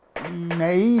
nei